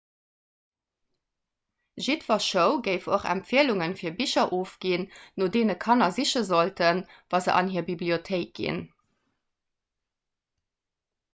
jiddwer show géif och empfielunge fir bicher ofginn no deene kanner siche sollten wa se an hir bibliothéik ginn